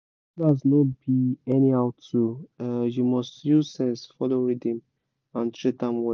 cutlass no be anyhow tool—you must use sense follow rhythm and treat am well